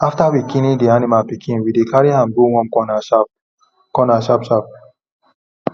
after we clean the animal pikin we dey carry am go warm corner sharp corner sharp sharp